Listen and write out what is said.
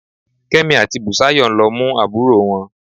Kẹ́mi àti Bùsáyọ̀ ń lọ mú àbúrò wọn